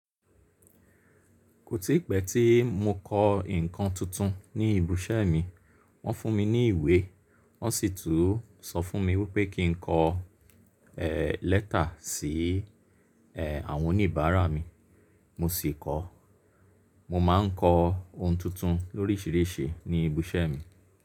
Kò tí pẹ́ tí mo kọ ǹkan tuntun ní ibi iṣẹ́ mi. Wọ́n fún mi ní ìwé, wọ́n sì tún sọ fún mi wípé kí n kọ eh lẹ́tà sí eh àwọn oníbàárà mi, mo sì kọ. Mo ma ń kọ ohun tuntun loríṣìíríṣìí ní ibi iṣẹ́ mi.